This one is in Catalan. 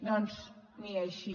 doncs ni així